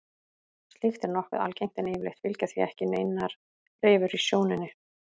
Slíkt er nokkuð algengt en yfirleitt fylgja því ekki neinar rifur í sjónunni.